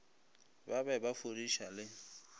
ba be ba fudiša le